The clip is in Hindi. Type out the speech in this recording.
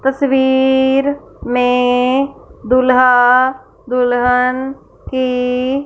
तस्वीर में दूलहा दुलहन की--